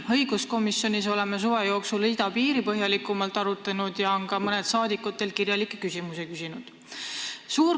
Õiguskomisjonis oleme suve jooksul idapiiri küsimust põhjalikumalt arutanud ja mõned rahvasaadikud on ka teilt kirjalikke küsimusi küsinud.